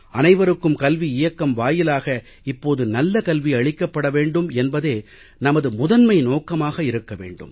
அனைவருக்கும் கல்வி இயக்கம் வாயிலாக இப்போது நல்ல கல்வி அளிக்கப்பட வேண்டும் என்பதே நமது முதன்மை நோக்கமாக வேண்டும்